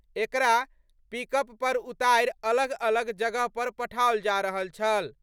एकरा पिकअप पर उतारि अलग-अलग जगह पर पठाओल जा रहल छल।